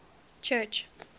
church